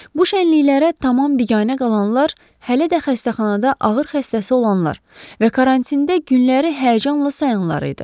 Bu şənliklərə tamam biganə qalanlar, hələ də xəstəxanada ağır xəstəsi olanlar və karantində günləri həyəcanla sayanlar idi.